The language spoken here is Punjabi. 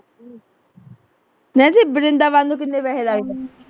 ਮੈਂ ਜ ਵਰਿੰਦਾਬਾਦ ਨੂੰ ਕਿੰਨੇ ਪੈਸੇ ਲੱਗ ਜਾਂਦੇ